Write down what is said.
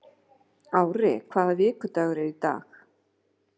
Ári, hvaða vikudagur er í dag?